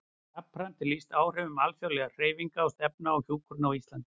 Jafnframt er lýst áhrifum alþjóðlegra hreyfinga og stefna á hjúkrun á Íslandi.